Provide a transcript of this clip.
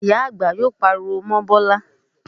Ìyá àgbà yóò pariwo mọ́ Bọ́lá